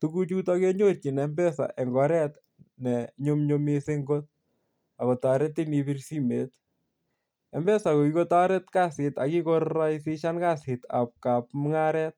Tuguchuton kenyorchin mpesa eng oret ne nyumnyum mising kot ak kotoretin ibir simoit. Mpesa ko kikotoret kasit ak kikoraisishan kasitab mungaret.